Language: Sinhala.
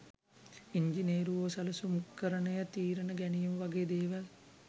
ඉංජිනේරුවෝ සැලසුම්කරණය තීරණ ගැනීම වගේ දේවල්